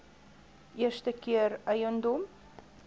eerste keer eiendom